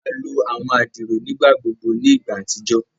a lo àwọn adiro nigbagbogbo ní ìgbà àtijọ́